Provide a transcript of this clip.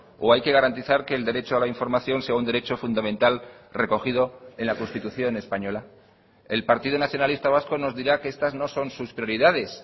o hay que garantizar que el derecho a la información sea un derecho fundamental recogido en la constitución española el partido nacionalista vasco nos dirá que estas no son sus prioridades